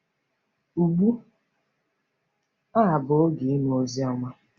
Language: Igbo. Ugbu a bụ oge “ịnụ Oziọma.”